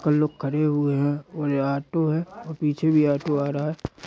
कई लोग खड़े हुए हैं और ये ऑटो है और पीछे भी ऑटो आ रहा है।